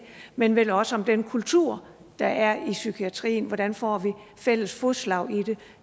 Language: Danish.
men jo vel også om den kultur der er i psykiatrien hvordan får vi fælles fodslag i det